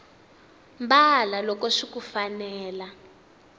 mbala loko swiku fanela